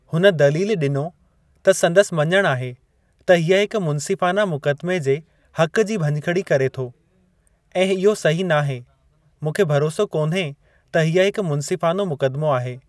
हुन दलीलु डि॒नी त संदसि मञणु आहे त हीअ हिकु मुन्सिफ़ाना मुक़दमे जे हक़ु जी भञिकड़ी करे थो ऐं इहो सही नाहे। मूंखे भरोसो कोन्हे त हीअ हिकु मुन्सिफ़ानो मुक़दमो आहे।